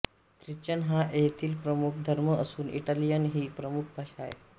Christian हा येथील प्रमुख धर्म असून इटालियन ही प्रमुख भाषा आहे